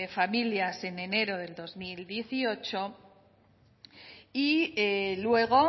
familia en enero de dos mil dieciocho y luego